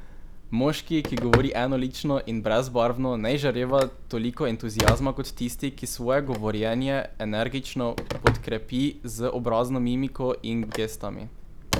Moški, ki govori enolično in brezbarvno, ne izžareva toliko entuziazma kot tisti, ki svoje govorjenje energično podkrepi z obrazno mimiko in gestami.